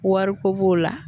Wariko b'o la